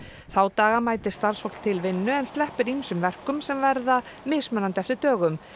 þá daga mætir starfsfólk til vinnu en sleppir ýmsum verkum sem verða mismunandi eftir dögum